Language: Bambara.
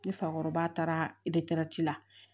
Ni fakɔrɔba taara la